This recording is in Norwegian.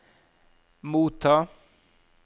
motta